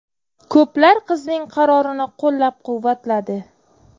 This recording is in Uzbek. Ko‘plar qizning qarorini qo‘llab-quvvatladi.